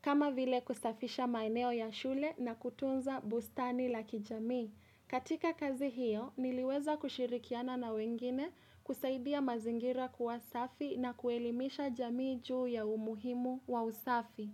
kama vile kusafisha maeneo ya shule na kutunza bustani la kijami. Katika kazi hiyo, niliweza kushirikiana na wengine kusaidia mazingira kuw asafi na kuelimisha jamii juu ya umuhimu wa usafi.